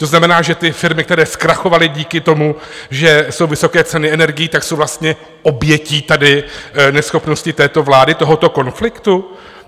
To znamená, že ty firmy, které zkrachovaly díky tomu, že jsou vysoké ceny energií, tak jsou vlastně obětí tady neschopnosti této vlády, tohoto konfliktu?